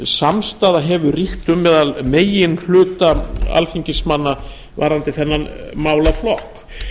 samstaða hefur ríkt um meðal meginhluta alþingismanna varðandi þennan málaflokk